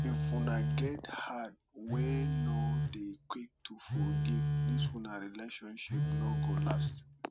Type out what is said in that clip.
if una get heart wey no dey quick to forgive dis una friendship no go last